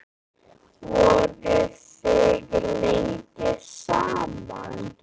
Voruð þið lengi saman?